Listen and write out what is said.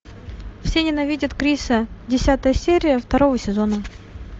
все ненавидят криса десятая серия второго сезона